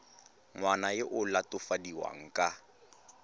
ngwana yo o latofadiwang ka